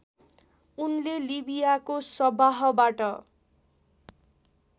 उनले लिबियाको सवाहबाट